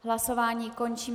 Hlasování končím.